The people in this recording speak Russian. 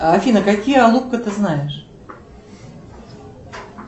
афина какие алупка ты знаешь